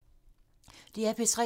DR P3